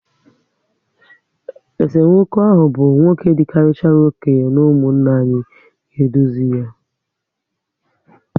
Esemokwu ahụ bụ nwoke dị karịchara okenye n'umunna anyị ga edozi yá